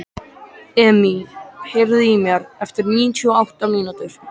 Emý, heyrðu í mér eftir níutíu og átta mínútur.